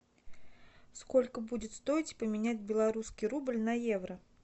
сколько будет стоить поменять белорусский рубль на евро